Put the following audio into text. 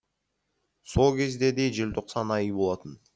сол кезде де желтоқсан айы болатын